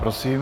Prosím.